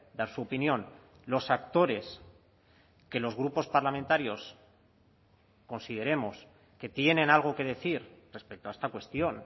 dar su opinión los actores que los grupos parlamentarios consideremos que tienen algo que decir respecto a esta cuestión